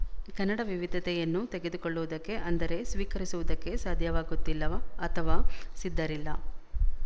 ಕನ್ನಡ ವಿವಿಧತೆಯನ್ನು ತೆಗೆದುಕೊಳ್ಳುವುದಕ್ಕೆ ಅಂದರೆ ಸ್ವೀಕರಿಸುವುದಕ್ಕೆ ಸಾಧ್ಯವಾಗುತ್ತಿಲ್ಲ ಅಥವಾ ಸಿದ್ಧರಿಲ್ಲ